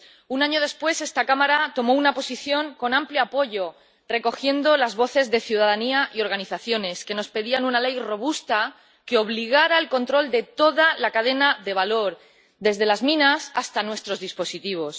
Un año después, esta Cámara tomó una posición, con amplio apoyo, recogiendo las voces de la ciudadanía y organizaciones que nos pedían una ley robusta que obligara al control de toda la cadena de valor, desde las minas hasta nuestros dispositivos.